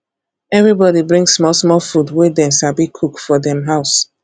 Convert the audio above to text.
everybody bring small small food wey dem sabi cook for dem house